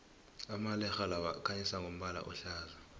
amalerhe lawa akhanyisa ngombala ohlaza